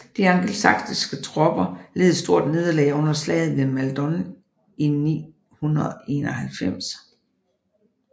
De angelsaksiske tropper led et stort nederlag under slaget ved Maldon i 991